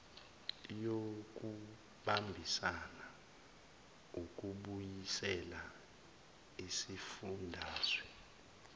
yokubambisana ukubuyisela isifundazwe